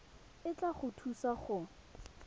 e tla go thusa go